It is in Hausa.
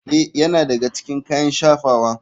Ee, yana daga cikin kayan shafawa.